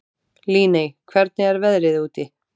Líney, hvernig er veðrið úti?